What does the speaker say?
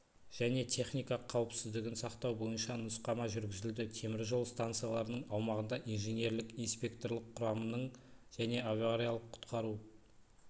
және техника қауіпсіздігін сақтау бойынша нұсқама жүргізілді темір жол станцияларының аумағында инженерлік-инспекторлық құрамның және авариялық-құтқару